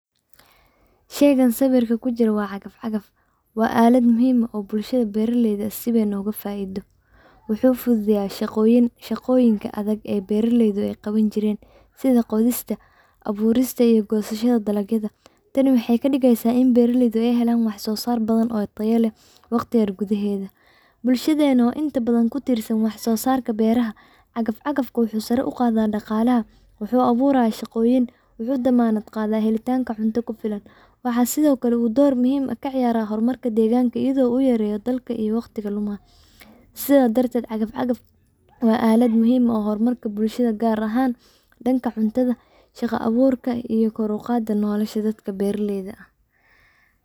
Shayga sawirka ku jira waa traktor, waana aalad muhiim ah oo bulshada beeraleyda ah si weyn ugu faa’iido. Traktorka wuxuu fududeeyaa shaqooyinka adag ee beeraleydu ay qaban jireen, sida qodista, abuurista, iyo goosashada dalagyada. Tani waxay ka dhigeysaa in beeraleydu ay helaan wax-soosaar badan oo tayo leh waqti yar gudaheed. Bulshadeenna oo inta badan ku tiirsan wax-soo-saarka beeraha, traktorka wuxuu sare u qaadaa dhaqaalaha, wuxuu abuurayaa shaqooyin, wuxuuna damaanad qaadaa helitaanka cunto ku filan. Waxaa sidoo kale uu door muhiim ah ka ciyaaraa horumarka deegaanka iyadoo uu yareeyo daalka iyo waqtiga lumaya. Sidaas darteed, traktorku waa aalad muhiim u ah horumarka bulshada, gaar ahaan dhanka cuntada, shaqo abuurka, iyo kor u qaadista nolosha dadka beeraleyda ah.